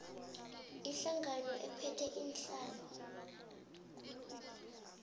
ihlangano ephethe iinhlalo